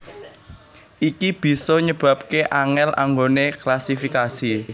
Iki bisa nyebabaké angèl anggoné klasifikasi